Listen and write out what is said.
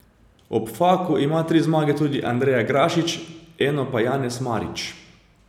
Ob Faku ima tri zmage tudi Andreja Grašič, eno pa Janez Marič.